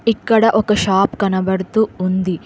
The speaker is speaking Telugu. ఇక్కడ ఒక షాప్ కనబడుతూ ఉంది.